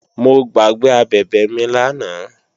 Mo gbàgbé abẹ̀bẹ̀ mi lánàá